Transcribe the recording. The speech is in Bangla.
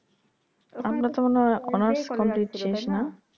আপনার মনে হয় honours complete শেষ না